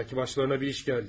Bəlkə başlarına bir iş gəldi.